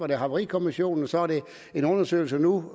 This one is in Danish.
det haverikommissionen så er det en undersøgelse nu